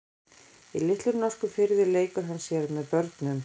Í litlum norskum firði leikur hann sér með börnum.